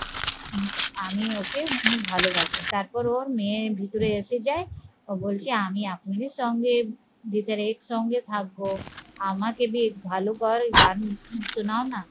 আমি ওকে অনেক ভালবাসবো তারপর ওর মেয়ের ভিতরে এসে যায় ও বলছে আমি আপনাদের সঙ্গে ভিতরে একসঙ্গে থাকবো আমাকে বেশ ভালো করে গান শোনাও না